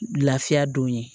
Lafiya don ye